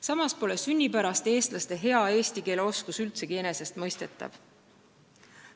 Samas pole sünnipäraste eestlaste hea eesti keele oskus üldsegi enesestmõistetav.